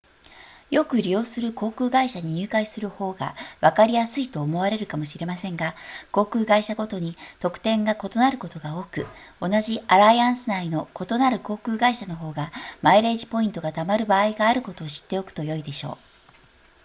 よく利用する航空会社に入会する方がわかりやすいと思われるかもしれませんが航空会社ごとに特典が異なることが多く同じアライアンス内の異なる航空会社の方がマイレージポイントがたまる場合があることを知っておくとよいでしょう